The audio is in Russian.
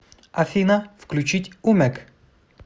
афина включить умек